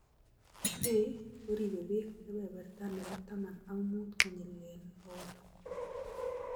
Hay koribe beek kebeberta nebo taman ak muut kenyilee bokol